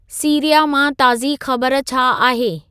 Syria मां ताज़ी ख़बर छा आहे